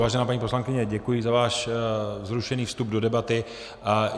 Vážená paní poslankyně, děkuji za váš vzrušený vstup do debaty.